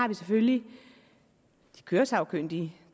der selvfølgelig de køresagkyndige